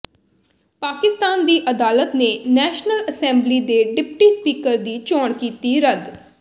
ਪਾਕਿਸਤਾਨ ਦੀ ਅਦਾਲਤ ਨੇ ਨੈਸ਼ਨਲ ਅਸੈਂਬਲੀ ਦੇ ਡਿਪਟੀ ਸਪੀਕਰ ਦੀ ਚੋਣ ਕੀਤੀ ਰੱਦ